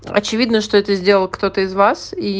очевидно что это сделал кто-то из вас и